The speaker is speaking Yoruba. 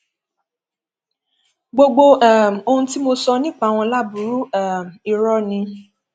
gbogbo um ohun tí mo sọ nípa wọn láburú um irọ ni